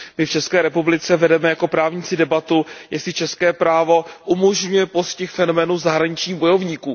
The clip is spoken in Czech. My v České republice vedeme jako právníci debatu, jestli české právo umožňuje postih fenoménu zahraničních bojovníků.